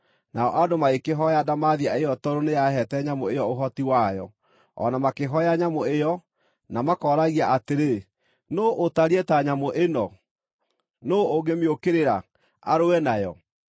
Nao andũ magĩkĩhooya ndamathia ĩyo tondũ nĩyaheete nyamũ ĩyo ũhoti wayo, o na makĩhooya nyamũ ĩyo, na makooragia atĩrĩ, “Nũũ ũtariĩ ta nyamũ ĩno? Nũũ ũngĩmĩũkĩrĩra, arũe nayo?”